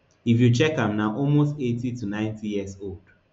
if you check am na almost eighty to ninety years old